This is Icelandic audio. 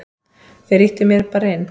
Þeir ýttu mér bara inn.